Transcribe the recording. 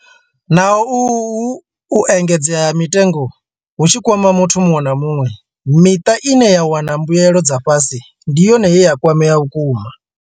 Naho uhu u engedzea ha mitengo hu tshi kwama muthu muṅwe na muṅwe, miṱa ine ya wana mbuelo dza fhasi ndi yone ye ya kwamea vhukuma.